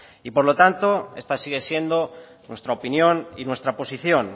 y por lo tanto esta sigue siendo nuestra opinión y nuestra posición